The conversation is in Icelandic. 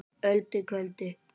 Öldu köldu